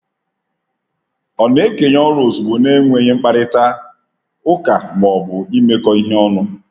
Ọ na-ekenye ọrụ ozugbo na-enweghị mkparịta ụka ma ọ bụ imekọ ihe ọnụ.